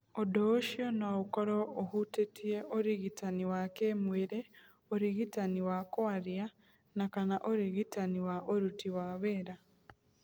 Ũndũ ũcio no ũkorũo ũhutĩtie ũrigitani wa kĩĩmwĩrĩ, ũrigitani wa kwaria na/kana ũrigitani wa ũruti wa wĩra.